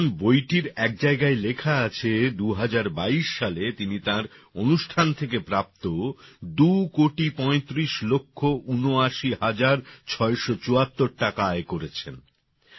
যেমন বইটির এক জায়গায় লেখা আছে ২০২২ সালে তিনি তাঁর অনুষ্ঠান থেকে প্রাপ্ত ২ কোটি পঁয়ত্রিশ লক্ষ ঊনআশি হাজার ছয়শ চুয়াত্তর টাকা আয় করেছেন